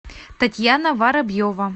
татьяна воробьева